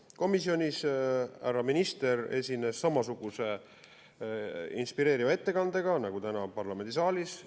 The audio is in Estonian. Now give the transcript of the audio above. Komisjonis härra minister esines samasuguse inspireeriva ettekandega nagu täna parlamendisaalis.